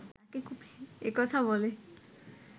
এ কথা বলে